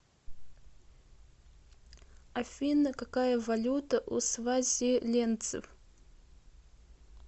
афина какая валюта у свазилендцев